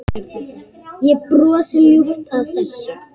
Ég brosi ljúft að þessu.